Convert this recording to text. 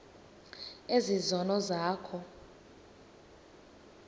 ezi zono zakho